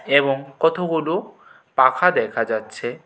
এবং কথগুলো পাখা দেখা যাচ্ছে।